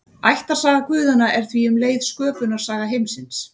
Ættarsaga guðanna er því um leið sköpunarsaga heimsins.